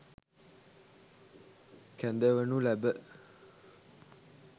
කැඳවනු ලැබ